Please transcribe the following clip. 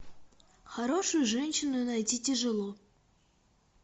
хорошую женщину найти тяжело